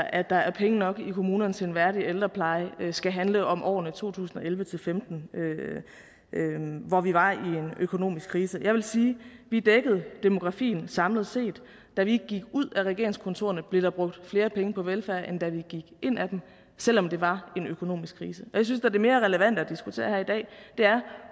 at der er penge nok i kommunerne til en værdig ældrepleje skal handle om årene to tusind og elleve til femten hvor vi var i en økonomisk krise jeg vil sige vi dækkede demografien samlet set da vi gik ud af regeringskontorerne blev der brugt flere penge på velfærd end da vi gik ind i dem selv om det var en økonomisk krise jeg synes da det er mere relevant